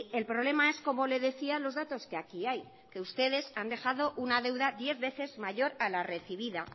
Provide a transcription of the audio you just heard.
el problema es como le decía los datos que aquí hay que ustedes han dejado una deuda diez veces mayor a la recibida